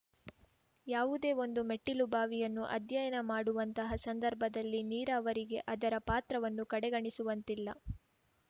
ಯಾವುದೇಒಂದು ಮೆಟ್ಟಿಲುಬಾವಿಯನ್ನು ಅಧ್ಯಯನ ಮಾಡುವಂತಹ ಸಂದರ್ಭದಲ್ಲಿ ನೀರಾವರಿಗೆ ಅದರ ಪಾತ್ರವನ್ನು ಕಡೆಗಣಿಸುವಂತಿಲ್ಲ